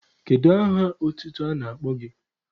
Kedu aha otutu a na-akpọ gị?